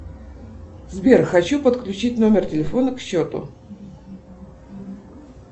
сбер хочу подключить номер телефона к счету